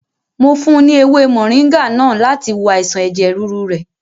Mo fún un ní èwe mọ̀ríngá náà láti wo àìsàn ẹ̀jẹ̀ rúru rẹ̀.